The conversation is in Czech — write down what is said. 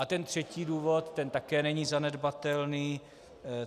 A ten třetí důvod, ten také není zanedbatelný.